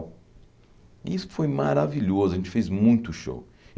E isso foi maravilhoso, a gente fez muito show.